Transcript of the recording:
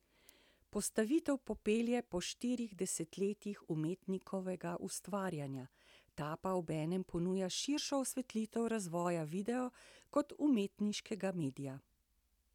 Postavitev popelje po štirih desetletjih umetnikovega ustvarjanja, ta pa obenem ponuja širšo osvetlitev razvoja videa kot umetniškega medija.